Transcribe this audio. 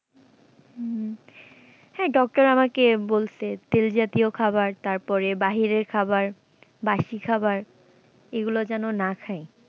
হুম, হ্যাঁ doctor আমাকে বলসে যে তেল জাতীয় খাওয়ার তারপরে বাহিরের খাওয়ার বাসি খাওয়ার এগুলো যেন না খাই।